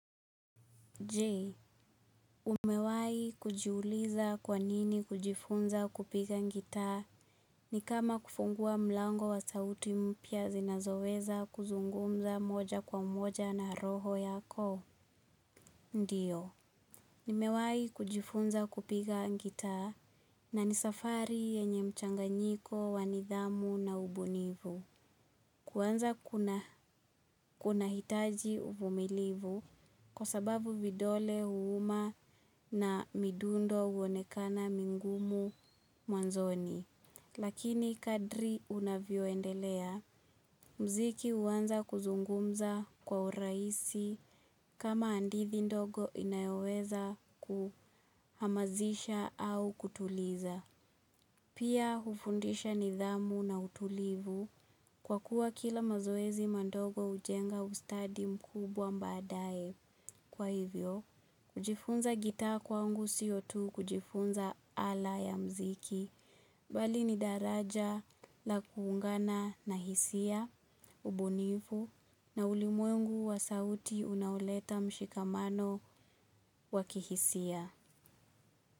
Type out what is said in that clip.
Je, umewahi kujiuliza kwa nini kujifunza kupiga gitaa ni kama kufungua mlango wa sauti mpya zinazoweza kuzungumza moja kwa mmoja na roho yako? Ndiyo, nimewahi kujifunza kupiga gitaa na ni safari yenye mchanganyiko wa nidhamu na ubunifu. Kuanza kunahitaji uvumilivu kwa sababu vidole huuma na midundo huonekana migumu mwanzoni. Lakini kadri unavyoendelea muziki huanza kuzungumza kwa urahisi kama hadithi ndogo inayoweza kuhamasisha au kutuliza. Pia hufundisha nidhamu na utulivu kwa kuwa kila mazoezi madogo hujenga ustadi mkubwa baadaye. Kwa hivyo, kujifunza gitaa kwangu siyo tu kujifunza ala ya muziki. Bali ni daraja la kuungana na hisia, ubunifu na ulimwengu wa sauti unaoleta mshikamano wa kihisia.